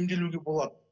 емделуге болады